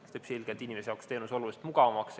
See teeb selgelt teenuse inimesele oluliselt mugavamaks.